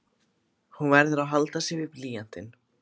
Hann verður að halda sig við blýantinn.